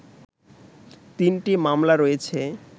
তিনটি মামলা রয়েছে